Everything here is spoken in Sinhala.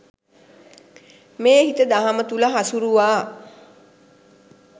මේ හිත දහම තුළ හසුරුවා